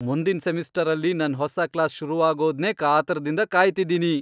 ಮುಂದಿನ್ ಸೆಮಿಸ್ಟರಲ್ಲಿ ನನ್ ಹೊಸ ಕ್ಲಾಸ್ ಶುರುವಾಗೋದ್ನೇ ಕಾತರದಿಂದ ಕಾಯ್ತಿದೀನಿ!